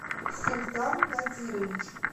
султан надирович